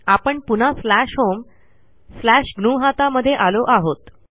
आपण पुन्हा slash home slash ग्नुहता मध्ये आलो आहोत